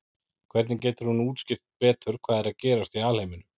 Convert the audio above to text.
hvernig getur hún útskýrt betur hvað er að gerast í alheiminum